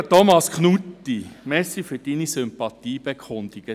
Lieber Thomas Knutti, danke für Ihre Sympathiebekundungen.